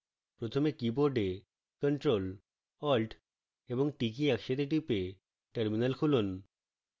প্রথমে keyboard ctrl + alt + t কী একসাথে টিপে terminal খুলুন